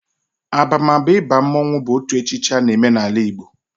Abamaba ịba mmonwu bụ otu echichi a na eme n'ala Igbo